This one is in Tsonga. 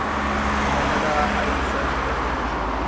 fanele a yisa xikombelo xa